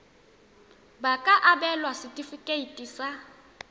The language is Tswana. ba ka abelwa setefikeiti sa